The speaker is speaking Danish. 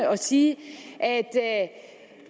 sige